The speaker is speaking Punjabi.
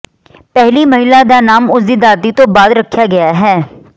ਪਹਿਲੀ ਮਹਿਲਾ ਦਾ ਨਾਮ ਉਸ ਦੀ ਦਾਦੀ ਤੋਂ ਬਾਅਦ ਰੱਖਿਆ ਗਿਆ ਹੈ